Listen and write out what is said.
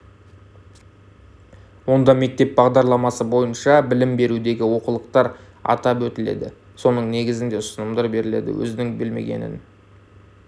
онда мектеп бағдарламасы бойынша білім берудегі олқылықтар атап өтіледі соның негізінде ұсынымдар беріледі өзінің білмегенін